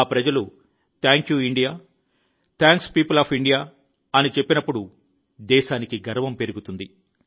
ఆ ప్రజలు thank you India thanks people of India అని చెప్పినప్పుడు దేశానికి గర్వం పెరుగుతుంది